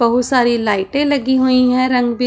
बहुत सारी लाइटें लगी हुईं हैं रंग बी--